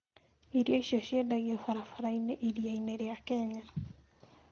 Irio icio ciendagio barabara-inĩ iria-inĩ rĩa Kenya.